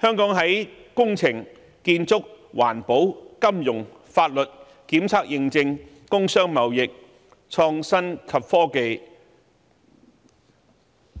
香港的工程、建築、環保、金融、法律、檢測驗證、工商貿易、創新及科技